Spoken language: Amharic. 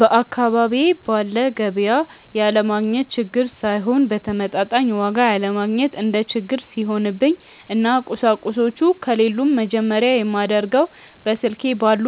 በአካባቢዬ ባለ ገቢያ ያለማግኘት ችግር ሳይሆን በተመጣጣኝ ዋጋ ያለማግኘት እንደ ችግር ሲሆንብኝ እና ቁሳቁሶቹ ከሌሉም መጀመርያ የማደርገው በስልኬ ባሉ